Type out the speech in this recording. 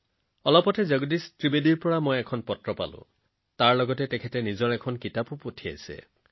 শেহতীয়াকৈ ভাই জগদীশ ত্ৰিবেদীজীৰ এখন চিঠি আহিছিল আৰু তাৰ লগতে তেওঁৰ এখন কিতাপ পঠিয়াইছিল